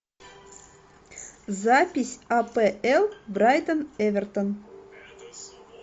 запись апл брайтон эвертон